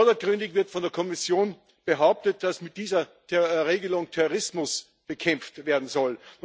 Vordergründig wird von der Kommission behauptet, dass mit dieser Regelung Terrorismus bekämpft werden soll.